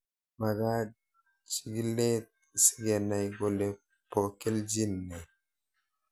Magat chig'ilet sikenai kole po kelchin nee